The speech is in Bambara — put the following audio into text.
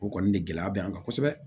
O kɔni de gɛlɛya bɛ an kan kosɛbɛ